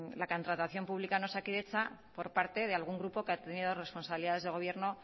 la contratación pública en osakidetza por parte de algún grupo que ha tenido responsabilidades de gobierno